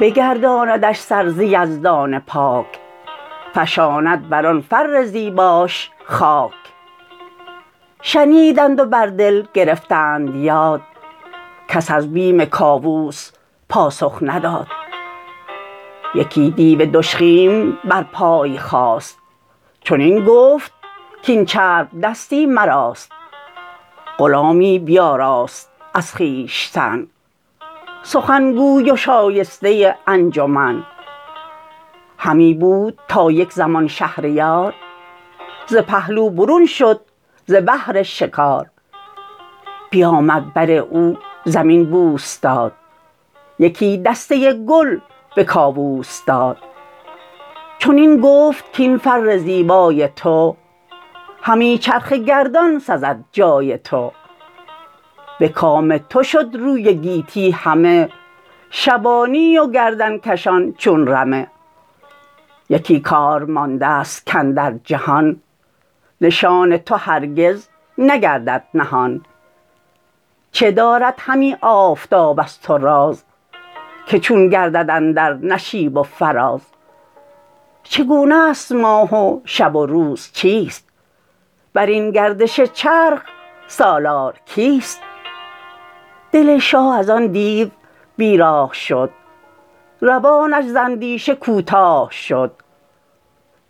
بگرداندش سر ز یزدان پاک فشاند بر آن فر زیباش خاک شنیدند و بر دل گرفتند یاد کس از بیم کاووس پاسخ نداد یکی دیو دژخیم بر پای خاست چنین گفت کاین چربدستی مراست غلامی بیاراست از خویشتن سخن گوی و شایسته انجمن همی بود تا یک زمان شهریار ز پهلو برون شد ز بهر شکار بیامد بر او زمین بوس داد یکی دسته گل به کاووس داد چنین گفت کاین فر زیبای تو همی چرخ گردان سزد جای تو به کام تو شد روی گیتی همه شبانی و گردنکشان چون رمه یکی کار ماندست کاندر جهان نشان تو هرگز نگردد نهان چه دارد همی آفتاب از تو راز که چون گردد اندر نشیب و فراز چگونست ماه و شب و روز چیست برین گردش چرخ سالار کیست دل شاه ازان دیو بی راه شد روانش ز اندیشه کوتاه شد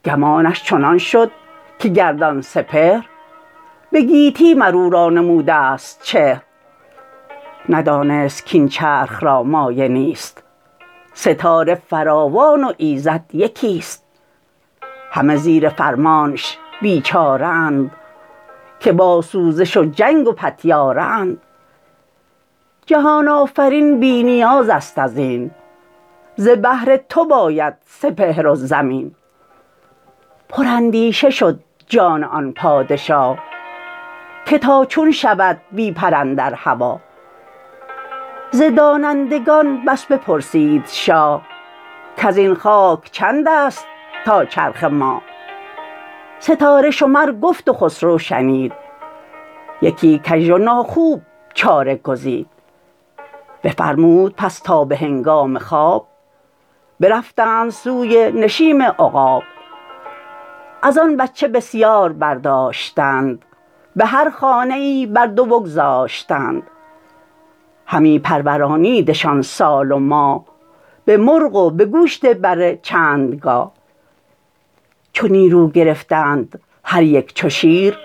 گمانش چنان شد که گردان سپهر به گیتی مراو را نمودست چهر ندانست کاین چرخ را مایه نیست ستاره فراوان و ایزد یکیست همه زیر فرمانش بیچاره اند که با سوزش و جنگ و پتیاره اند جهان آفرین بی نیازست ازین ز بهر تو باید سپهر و زمین پراندیشه شد جان آن پادشا که تا چون شود بی پر اندر هوا ز دانندگان بس بپرسید شاه کزین خاک چندست تا چرخ ماه ستاره شمر گفت و خسرو شنید یکی کژ و ناخوب چاره گزید بفرمود پس تا به هنگام خواب برفتند سوی نشیم عقاب ازان بچه بسیار برداشتند به هر خانه ای بر دو بگذاشتند همی پرورانیدشان سال و ماه به مرغ و به گوشت بره چندگاه چو نیرو گرفتند هر یک چو شیر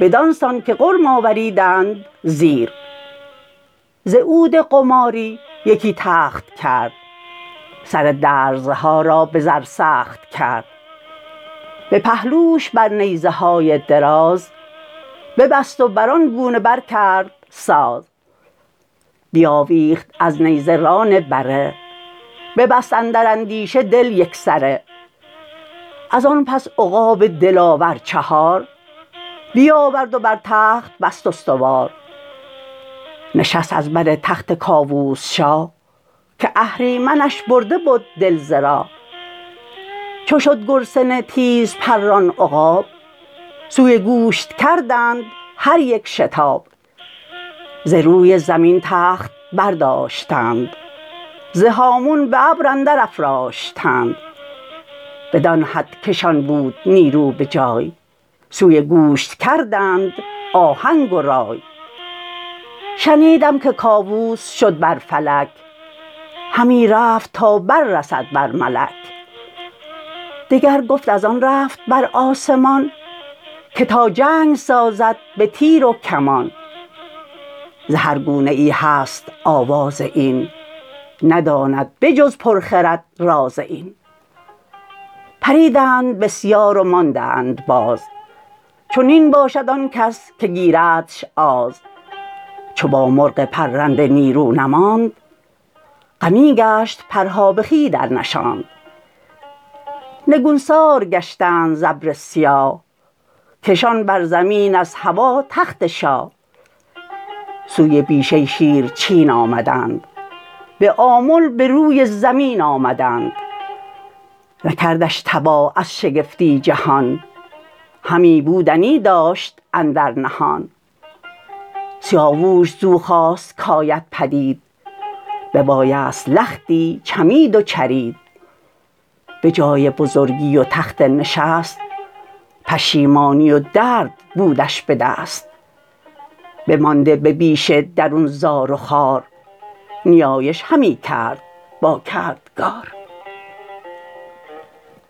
بدان سان که غرم آوریدند زیر ز عود قماری یکی تخت کرد سر درزها را به زر سخت کرد به پهلوش بر نیزهای دراز ببست و بران گونه بر کرد ساز بیاویخت از نیزه ران بره ببست اندر اندیشه دل یکسره ازن پس عقاب دلاور چهار بیاورد و بر تخت بست استوار نشست از بر تخت کاووس شاه که اهریمنش برده بد دل ز راه چو شد گرسنه تیز پران عقاب سوی گوشت کردند هر یک شتاب ز روی زمین تخت برداشتند ز هامون به ابر اندر افراشتند بدان حد که شان بود نیرو به جای سوی گوشت کردند آهنگ و رای شنیدم که کاووس شد بر فلک همی رفت تا بر رسد بر ملک دگر گفت ازان رفت بر آسمان که تا جنگ سازد به تیر و کمان ز هر گونه ای هست آواز این نداند به جز پر خرد راز این پریدند بسیار و ماندند باز چنین باشد آنکس که گیردش آز چو با مرغ پرنده نیرو نماند غمی گشت پرهاب خوی درنشاند نگونسار گشتند ز ابر سیاه کشان بر زمین از هوا تخت شاه سوی بیشه شیرچین آمدند به آمل بروی زمین آمدند نکردش تباه از شگفتی جهان همی بودنی داشت اندر نهان سیاووش زو خواست کاید پدید ببایست لختی چمید و چرید به جای بزرگی و تخت نشست پشیمانی و درد بودش به دست بمانده به بیشه درون زار و خوار نیایش همی کرد با کردگار